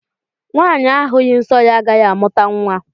Nwanyi ahughi nsọ ya agaghị amụta nwa